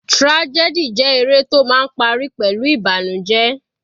Tragedy jẹ́ eré tó máa ń parí pẹ̀lú ìbànújẹ.